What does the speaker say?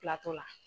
Kilatɔ la